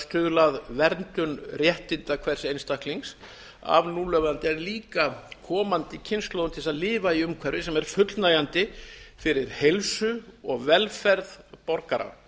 stuðla að verndun réttinda hvers einstaklings af núlifandi og líka komandi kynslóðum til þess að lifa í umhverfi sem er fullnægjandi fyrir heilsu og velferð borgara